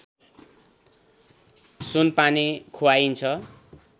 सुनपानी खुवाइन्छ